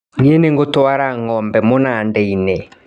Nĩ ngũtwara ngombe mũnandainĩ.